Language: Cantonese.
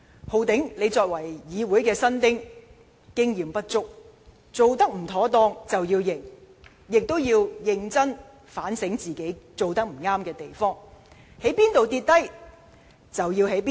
"浩鼎"，你作為議員新丁，經驗不足，有做得不妥當之處便要承認，也要認真反省自己有甚麼地方做得不對。